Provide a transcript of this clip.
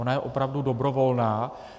Ona je opravdu dobrovolná.